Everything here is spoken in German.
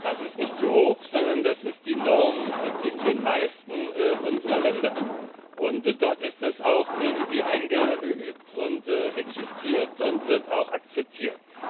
Das ist nicht zu hoch, sondern das ist die Norm in den meisten unserer Länder, und dort ist es auch irgendwie eingeübt und existiert und wird auch akzeptiert.